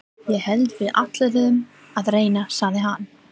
Ég hélt við ætluðum að reyna, sagði hann.